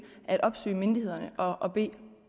at opsøge myndighederne og og bede